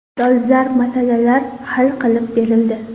Dolzarb masalalar hal qilib berildi.